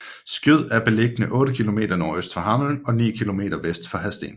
Skjød er beliggende otte kilometer nordøst for Hammel og ni kilometer vest for Hadsten